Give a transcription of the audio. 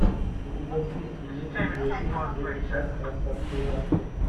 у тебя в списке есть видеофильм джеки чан рассказ служанки